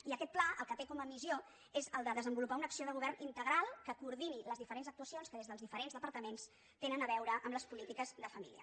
i aquest pla el que té com a missió és desenvolupar una acció de govern integral que coordini les diferents actuacions que des dels diferents departaments tenen a veure amb les polítiques de família